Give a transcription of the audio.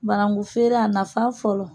Banankun feere, a nafa fɔlɔ